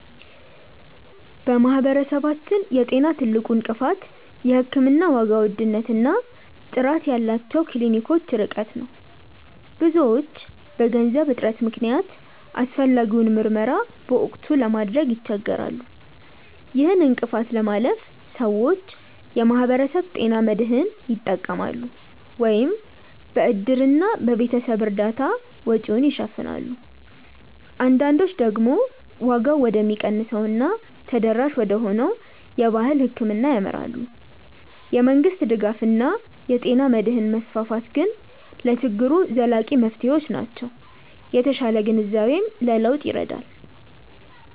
በማህበረሰባችን የጤና ትልቁ እንቅፋት የሕክምና ዋጋ ውድነት እና ጥራት ያላቸው ክሊኒኮች ርቀት ነው። ብዙዎች በገንዘብ እጥረት ምክንያት አስፈላጊውን ምርመራ በወቅቱ ለማድረግ ይቸገራሉ። ይህን እንቅፋት ለማለፍ ሰዎች የማህበረሰብ ጤና መድህን ይጠቀማሉ፤ ወይም በእድርና በቤተሰብ እርዳታ ወጪውን ይሸፍናሉ። አንዳንዶች ደግሞ ዋጋው ወደሚቀንሰው እና ተደራሽ ወደሆነው የባህል ሕክምና ያመራሉ። የመንግስት ድጋፍ እና የጤና መድህን መስፋፋት ግን ለችግሩ ዘላቂ መፍትሄዎች ናቸው። የተሻለ ግንዛቤም ለለውጥ ይረዳል።